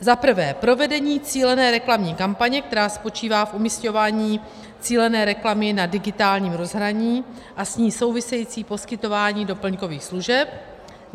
Za prvé, provedení cílené reklamní kampaně, která spočívá v umísťování cílené reklamy na digitálním rozhraní a s ní související poskytování doplňkových služeb.